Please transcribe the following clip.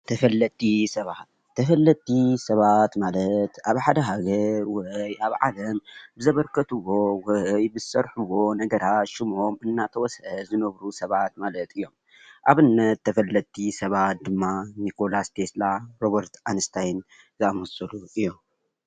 ተፈለጥቲ ሰባት:‑ተፈለጥቲ ሰባት ማለት ኣብ ሓደ ሃገር ወይ ኣብ ዓለም ብዘበርከትዎ ወይ ብዝሰርሕዎ ነገራት ሽሞም እናተወስእ ዝነብሩ ሰባት ማለት እዮም፡፡ ኣብነት ተፈለጥቲ ሰባት ድማ ኒኮላስ ቴስላ፣ ሮበርት ኣንስታይን ዘኣመሰሉ እዮም።